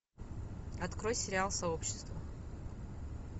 открой сериал сообщество